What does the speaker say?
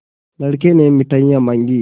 लड़के ने मिठाई मॉँगी